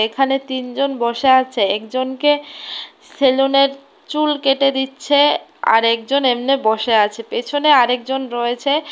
এখানে তিন জন বসে আছে একজনকে সেলুন এর চুল কেটে দিচ্ছে আরেক জন এমনে বসে আছে পেছনে আরেকজন রয়েছে।